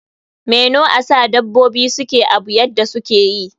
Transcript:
Me know asa dabobi suke Abu yadda sukeyi?